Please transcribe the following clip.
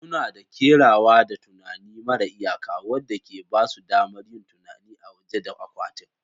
Suna da kerawa da tunani mara iyaka, wanda ke ba su damar yin tunani a waje da akwatin